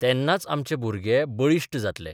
तेन्नाच आमचे भुरगे बळिश्ट जातले.